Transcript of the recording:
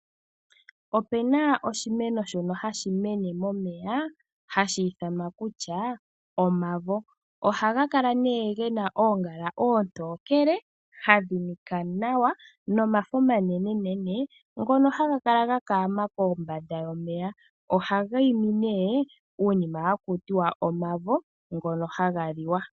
Opena oshimeno shono hashi mene momeya hashi ithanwa kutya omavo, oha ga kala nee gena oongala oontokele hadhinika nawa nomafo omanenenene ngono haga kala ga kaama kombanda yomeya, ohaga imi nee uunima hakutiwa omavo, ngono haga liwa.